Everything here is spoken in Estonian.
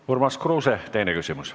Urmas Kruuse, teine küsimus.